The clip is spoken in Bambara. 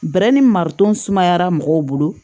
Bɛrɛ ni mariton sumayara mɔgɔw bolo